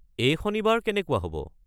এই শনিবাৰ কেনেকুৱা হ'ব?